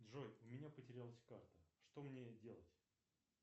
джой у меня потерялась карта что мне делать